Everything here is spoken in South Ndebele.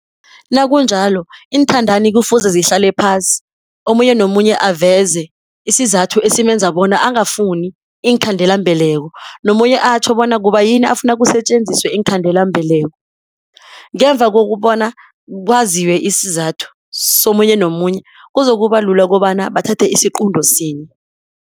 Nakunjalo iinthandani kufuze zihlale phasi, omunye nomunye aveze isizathu esimenza bona angafuni iinkhandelambeleko nomunye atjho bona kubayini afuna kusetjenziswe iinkhandelambeleko. Ngemva kokubona, kwaziwe isizathu somunye nomunye, kuzokuba lula kobana bathathe isiqunto sinye.